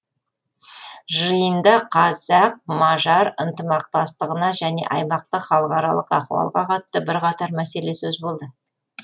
жиында қазақ мажар ынтымақтастығына және аймақтық халықаралық ахуалға қатысты бірқатар мәселе сөз болды